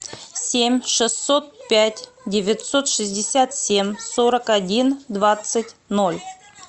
семь шестьсот пять девятьсот шестьдесят семь сорок один двадцать ноль